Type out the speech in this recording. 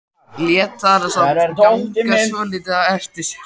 Lét hana samt ganga svolítið á eftir sér.